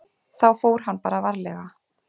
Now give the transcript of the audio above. Þá fór hann bara varlega.